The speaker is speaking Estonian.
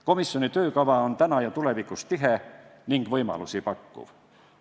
Komisjoni töökava on täna ja tulevikus tihe ning võimalusi pakkuv.